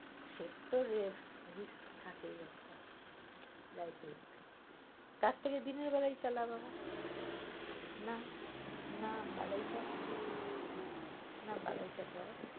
সে তো risk থাকেই একটা life risk তার থেকে দিনের বেলায় চালা বাবা না না বালাই ষাঠ না বালাই ষাঠ বাবা।